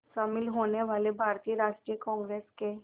शामिल होने वाले भारतीय राष्ट्रीय कांग्रेस के